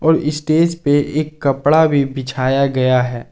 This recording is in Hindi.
और स्टेज पे एक कपड़ा भी बिछाया गया है।